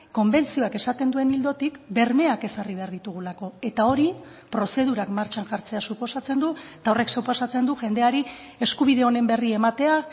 konbentzioak esaten duen ildotik bermeak ezarri behar ditugulako eta hori prozedurak martxan jartzea suposatzen du eta horrek suposatzen du jendeari eskubide honen berri ematea